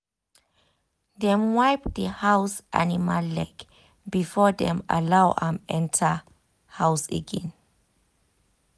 dem wipe the house animal leg before dem allow am enter house again.